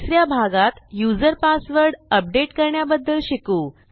तिस या भागात युजर पासवर्ड अपडेट करण्याबद्दल शिकू